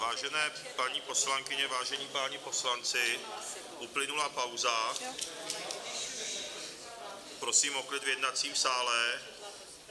Vážené paní poslankyně, vážení páni poslanci, uplynula pauza, prosím o klid v jednacím sále.